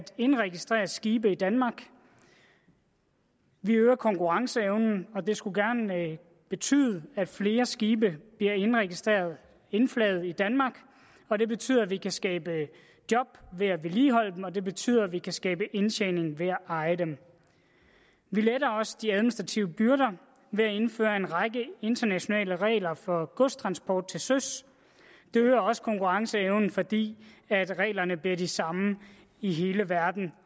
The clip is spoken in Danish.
indregistrere skibe i danmark vi øger konkurrenceevnen og det skulle gerne betyde at flere skibe bliver indregistreret indflaget i danmark og det betyder at vi kan skabe job ved at vedligeholde dem og det betyder at vi kan skabe indtjening ved at eje dem vi letter også de administrative byrder ved at indføre en række internationale regler for godstransport til søs det øger også konkurrenceevnen fordi reglerne bliver de samme i hele verden